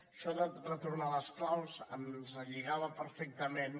això de retornar les claus ens relligava perfectament